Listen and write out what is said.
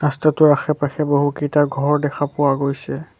ৰস্তাটোৰ আশে পাশে বহুকেইটা ঘৰ দেখা পোৱা গৈছে।